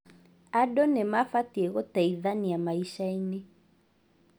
Andũ nĩmabatie gũteithania maicainĩ